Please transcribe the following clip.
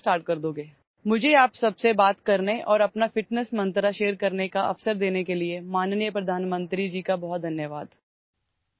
আপোনালোক সকলোৰে সৈতে কথা পতাৰ সুযোগ দিয়াৰ বাবে আৰু মোৰ ফিটনেছ মন্ত্ৰটো শ্বেয়াৰ কৰিবলৈ সুযোগ দিয়াৰ বাবে মাননীয় প্ৰধানমন্ত্ৰী মহোদয় ডাঙৰীয়াক বহুত বহুত ধন্যবাদ